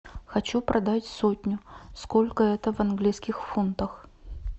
хочу продать сотню сколько это в английских фунтах